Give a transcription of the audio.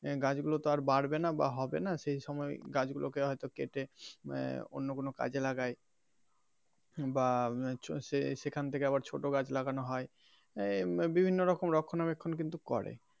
গাছ গুলো তো আর বাড়বে না বা হবে না সেই সময় গাছ গুলো কে হয় তো কেটে অন্য কোনো কাজে লাগায় বা সেখান থেকে আবার ছোট গাছ লাগানো হয় এই বিভিন্ন রকম রক্ষনা বেক্ষন কিন্তু করে.